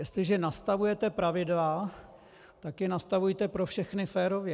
Jestliže nastavujete pravidla, tak je nastavujte pro všechny férově.